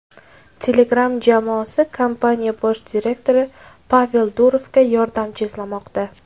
Telegram jamoasi kompaniya bosh direktori Pavel Durovga yordamchi izlamoqda.